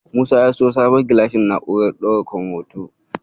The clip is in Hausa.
Musa ya siyo sabon gilashin na'urar ɗaukan hoto.